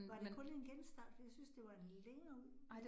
Var det kun en genstart, for jeg synes, det var en længere